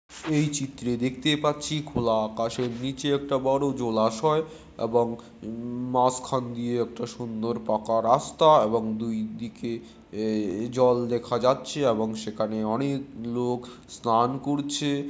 এই চরিত্রে দেখতে পাচ্ছি খোলা আকাশের নীচে একটা বড়ো জলাশয় এবং উম মাঝখান দিয়ে একটা সুন্দর পাকা রাস্তা এবং দুই দিকে জল দেখা যাচ্ছে এবং সেখানে অনেক লোক স্নান করছে।